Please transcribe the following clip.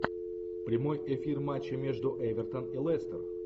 прямой эфир матча между эвертон и лестер